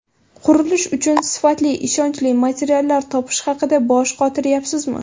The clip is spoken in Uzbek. Qurilish uchun sifatli, ishonchli materiallar topish haqida bosh qotiryapsizmi?